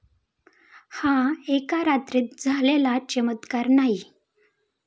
हा एका रात्रीत झालेला चमत्कार नाही.